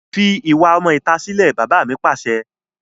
Fi ìwà ọmọ ìta sílè! Bàbá mi Pàṣẹ.